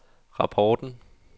rapporten